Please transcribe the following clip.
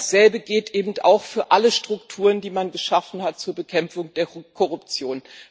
Dasselbe geht auch für alle Strukturen, die man geschaffen hat zur Bekämpfung der Korruption.